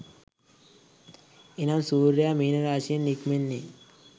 එනම් සූර්යයා මීන රාශියෙන් නික්මෙන්නේ